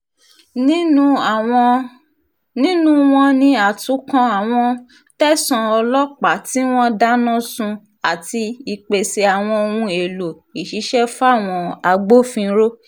nínú wọn ni àtúnkọ́ àwọn tẹ̀sán ọlọ́pàá tí wọ́n dáná sun àti ìpèsè àwọn ohun èèlò ìṣiṣẹ́ fáwọn agbófinró